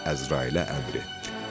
Əzraila əmr etdi.